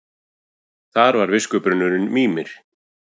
Þar var viskubrunnurinn Mímir.